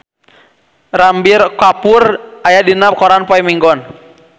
Ranbir Kapoor aya dina koran poe Minggon